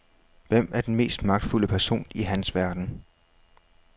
Hvem er den mest magtfulde person i hans verden?